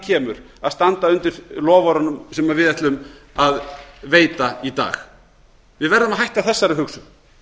kemur að standa undir loforðunum sem við ætlum að veita í dag við verðum að hætta þessari hugsun